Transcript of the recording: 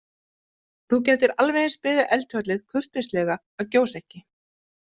Þú gætir alveg eins beðið eldfjallið kurteislega að gjósa ekki.